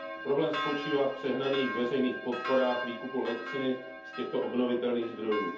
Problém spočívá v přehnaných veřejných podporách výkupu elektřiny z těchto obnovitelných zdrojů.